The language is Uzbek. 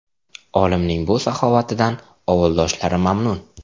Olimning bu saxovatidan ovuldoshlari mamnun.